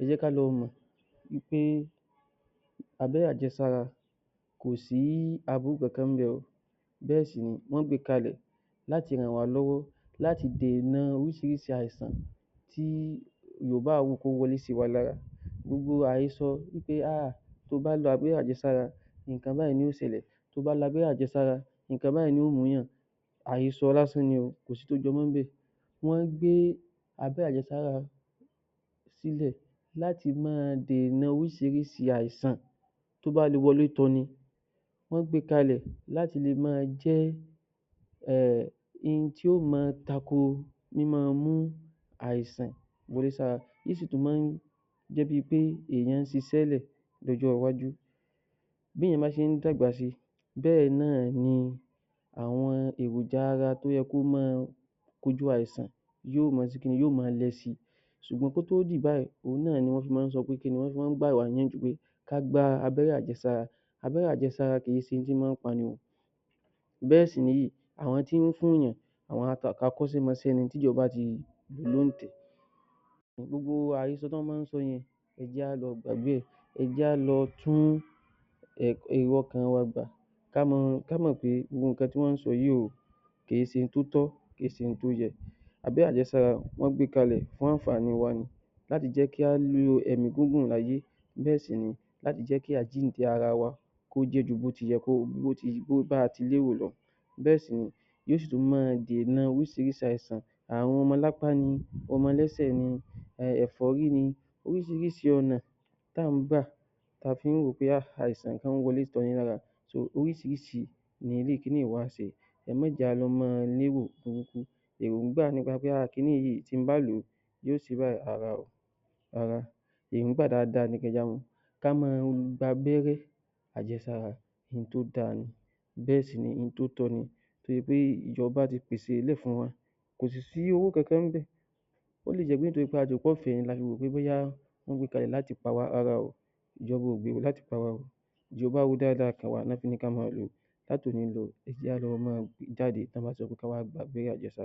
Ẹ jẹ́ ká lọ mọ̀ wí pé ábẹ́rẹ́ àjẹsára kò sí aburú kankan ń bẹ̀ bẹ́ẹ̀ sì ni wọ́n gbé e kalẹ̀ láti ràn wá lọ́wọ́ láti dènà orísìírísìí àìsàn tí yóò bá wù kó wọlé sí wa lára irú àhesọ pé tí ó bá lo ábẹ́rẹ́ àjẹsára nǹkan báyìí ni yóò ṣẹlẹ̀, tí ó bá lo ábẹ́rẹ́ àjẹsára nǹkan báyìí ni yóò mú ènìyàn àhesọ lásán ni kò sí ohun tó jẹ mọ́ níbẹ̀, wọ́n gbé abẹ́rẹ́ àjẹsára síbẹ̀ láti máa dènà orísìírísìí àìsàn tó bá lè wọlé tọ ni, wọ́n gbé e kalẹ̀ láti lè máa jẹ́ ohun tí yóò máa tako tí máa ń mú àìsàn wọlé síni lára, ó sì tún máa ń mú ènìyàn ṣiṣẹ́ sílẹ̀ di ọjọ́ iwájú bí ènìyàn bá ṣe ń dàgbà sí í bẹ́ẹ̀ náà ni àwọn èròjà ara tí ó yẹ kí ó máa tibi àìsàn yóò máa ṣe kí ni yóò máa lọ síi, ṣùgbọ́n kó tó dì báyìí òhun náà ni wọ́n fi máa ń sọ pé kí ni, wọ́n fi máa ń gbà wá ní ìyànjú pé ká gba abẹ́rẹ́ àjẹsára, abẹ́rẹ́ àjẹsára, abẹ́rẹ́ àjẹsára kìí ṣe ohun tí ó máa ń pa ni bẹ́ẹ̀ ni àwọn tí ó ń fún ènìyàn àwọn akọ́ṣémọṣẹ́ ni tí ìjọba ti yàn. Gbogbo àwọn àhesọ tí wọ́n máa ń sọ yẹn ẹ jẹ́ ká lọ gbàgbé rẹ ẹ jẹ́ ká lọ tún èrò ọkàn wa dà ká mọ̀ pé gbogbo nǹkan tí wọ́n ń sọ yí kìí se ohun tó tọ́ kìí se ohun tó yẹ. Abẹ́rẹ́ àjẹsára wọ́n gbé e kalẹ̀ fún àǹfààní wa ni láti jẹ́ kí á ní ẹ̀mí gígùn láyé bẹ́ẹ̀ sì ni láti jẹ́ kí àjíǹde ara wa kó jẹ́ ju bí a ti lérò lọ bẹ́ẹ̀ sì ni yóò sì máa dènà orísìírísìí àìsàn. Ààrùn romọ́lápa ni romọlẹ́sẹ̀ ni, ẹ̀fọ́rí ni orísìírísìí ọ̀nà tí à ń gbà tí a fi ń rò pé àìsàn ń wọlé tọni lára orísìírísìí ni irú kiní yìí wà fún ẹ má jẹ́ kí á máa lérò pé kiní yìí tí mo bá lò ó yoo ṣe báyìí, rárá o, rárá èròńgbà dáadáa ni kí a máa, kí á máa gba abẹ́rẹ́ àjẹsára ohun tí ó dáa ni bẹ́ẹ̀ sì ni ohun tí ó tọ́ ni nítorí pé ìjọba ti pèsè ẹ̀ lẹ̀ fún wa kò sì sí owó kankan níbẹ̀ ó lè jẹ́ pé èyí tí a lérò pé wọn gbé e kalẹ̀ láti pa wá, rárá o, ìjọba ò gbowó láti pa wá, ìjọba ro dáa dáa kàn wá ni wọ́n ṣe ní kí á máa lò ó kí á lọ máa jáde kí á wá gba abẹ́rẹ́ àjẹsára.